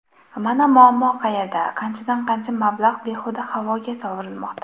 Mana muammo qayerda qanchadan-qancha mablag‘ behuda havoga sovurilmoqda.